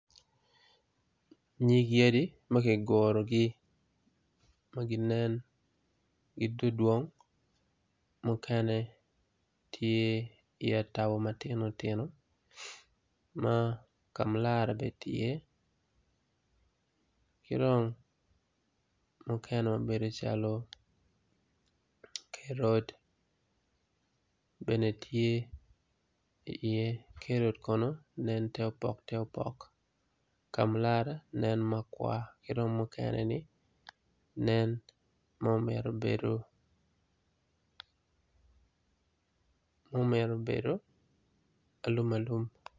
Nyig yadi ma gigurgi ma ginen gidwong dwong mukene tye itabo matino tino ma kamlara bene ti iye ki dong mukene mabedo calo kerot bene tye iye kerot kono nen te opok te opok kamulara nen makwar ki dong mukene-ni nen mumito bedo alum alum.